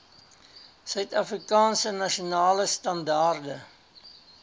suidafrikaanse nasionale standaarde